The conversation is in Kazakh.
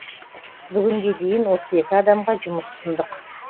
бүгінге дейін отыз екі адамға жұмыс ұсындық